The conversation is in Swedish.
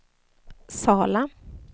Sala